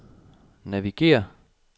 navigér